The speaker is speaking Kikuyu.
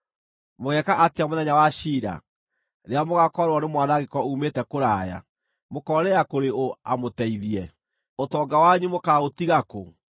Mũgeeka atĩa mũthenya wa ciira, rĩrĩa mũgaakorererwo nĩ mwanangĩko uumĩte kũraya? Mũkoorĩra kũrĩ ũ amũteithie? Ũtonga wanyu mũkaaũtiga kũ?